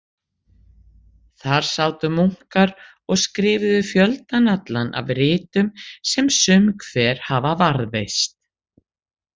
Þar sátu munkar og skrifuðu fjöldann allan af ritum sem sum hver hafa varðveist.